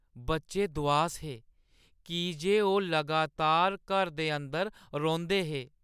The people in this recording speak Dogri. बच्चे दुआस हे की जे ओह् लगातार घर दे अंदर रौंह्‌दे हे।